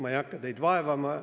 Ma ei hakka teid vaevama.